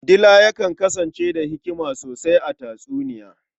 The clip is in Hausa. Dila yakan kasance da hikima sosai a tatsuniya.